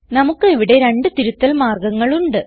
നമുക്ക് ഇവിടെ രണ്ട് തിരുത്തൽ മാർഗങ്ങൾ ഉണ്ട്